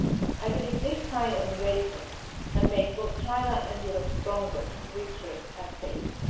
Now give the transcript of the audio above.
I believe this kind of engagement can make both China and Europe stronger, richer and safer.